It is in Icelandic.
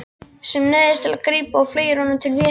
Sem neyðist til að grípa og fleygir honum til Vésteins.